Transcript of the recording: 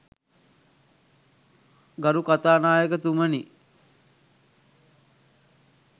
ගරු කතානායකතුමනි